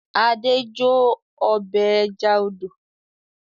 Adé jó ọbẹ̀ ẹja odò.